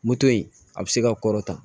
Moto in a bɛ se ka kɔrɔta